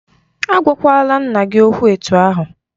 A gwakwala nna gị okwụ etu ahụ!